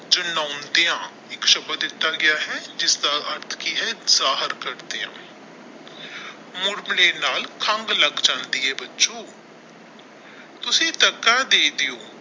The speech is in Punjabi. ਏਕ ਸ਼ਬਦ ਦਿੱਤਾ ਗਿਆ ਹੈ ਇਸ ਦਾ ਅਰਥ ਕਿ ਹੈ ਜਾਹਰ ਕਰ ਦੀਆ ਮੁੜ ਮਾਣੇ ਨਾਲ ਲੱਗ ਜਾਂਦੀ ਹੈ ਬੱਚੋਂ ਤੁਸੀ ਧੱਕਾ ਦੇ ਦੋ।